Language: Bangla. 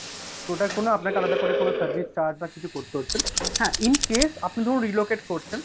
ওটা করলে আপনাকে আলাদা করে কোন service charge বা কিছু করতে হচ্ছে না। হ্যাঁ, in case আপনি ধরুন relocate করছেন,